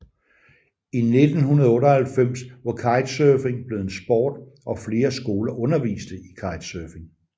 I 1998 var kitesurfing blevet en sport og flere skoler underviste i kitesurfing